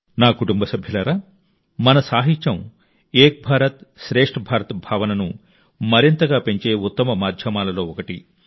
నా కుటుంబ సభ్యులారా మన సాహిత్యం ఏక్ భారత్ శ్రేష్ఠ భారత్ భావనను మరింతగా పెంచే ఉత్తమ మాధ్యమాలలో ఒకటి